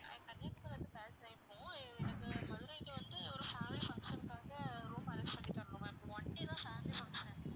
கன்னியாகுமரியில் இருந்து பேசறேன் இப்போ எனக்கு மதுரைக்கு வந்து ஒரு family function க்காக room arrange பண்ணித் தரணும் ma'am one day தான் family function